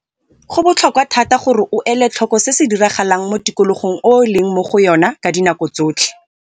Go botlhokwa thata gore o ele tlhoko se se diragalang mo tikologong e o leng mo go yona ka dinako tsotlhe.